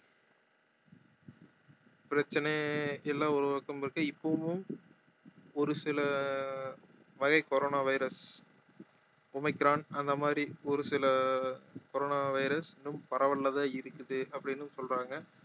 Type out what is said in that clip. பிரச்சனை இல்ல ஒரு ஒருத்தவங்களுக்கும் இப்பவும் ஒரு சில வகை corona virus ஒமைக்ரான் அந்த மாதிரி ஒரு சில corona virus இன்னும் பரவல்ல தான் இருக்குது அப்படின்னும் சொல்றாங்க